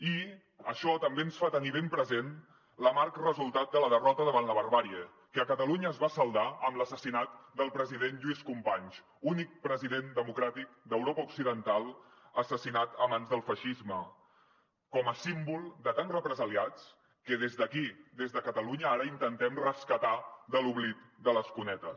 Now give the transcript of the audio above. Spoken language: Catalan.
i això també ens fa tenir ben present l’amarg resultat de la derrota davant la barbàrie que a catalunya es va saldar amb l’assassinat del president lluís companys únic president democràtic d’europa occidental assassinat a mans del feixisme com a símbol de tants represaliats que des d’aquí des de catalunya ara intentem rescatar de l’oblit de les cunetes